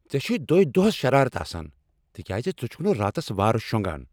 ژےٚ چھے دوٚہۍ دۄہس شرارت آسان تکیٛازِ ژٕ چھکھ نہٕ راتس وارٕ شۄنٛگان۔